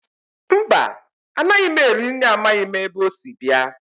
Mba, anaghị m eri nri amaghị m ebe o si bịa